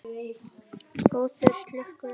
Góður slurkur eftir.